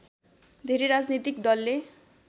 धेरै राजनैतिक दलले